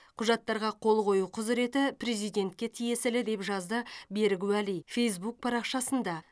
құжаттарға қол қою құзыреті президентке тиесілі деп жазды берік уәли фейзбук парақшасында